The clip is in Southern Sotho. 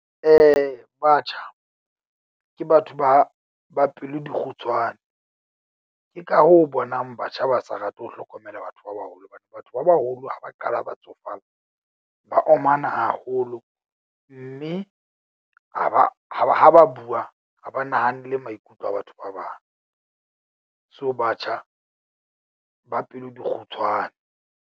Batjha ke batho ba ba pelo di kgutshwane. Ke ka hoo o bonang batjha ba sa rate ho hlokomela batho ba baholo. Hobane batho ba baholo ha ba qala ba tsofala, ba omana haholo mme ha ba ha ba ha ba bua ha ba nahanele maikutlo a batho ba bang. So batjha ba pelo di kgutshwane.